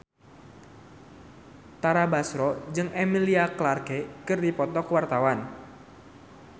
Tara Basro jeung Emilia Clarke keur dipoto ku wartawan